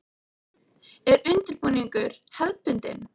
Er undirbúningur hefðbundin?